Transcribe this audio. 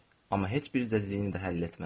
Amma heç bir cəzdini də həll etmədim.